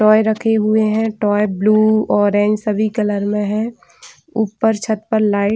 toy रखे हुए है हुए है टॉय ब्लू ऑरेंज सभी कलर में है ऊपर छत पर लाइट --